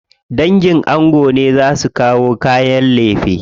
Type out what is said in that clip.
Dangin ango ne za su kawo kayan lefe.